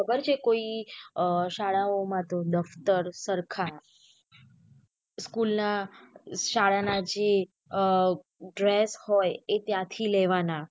અત્યારે કોઈ શાળાઓ માટે દફતર સરખા school ના શાળાના જે અ dress હોય એ ત્યાંથી લેવાના.